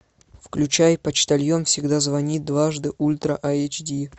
включай почтальон всегда звонит дважды ультра айч ди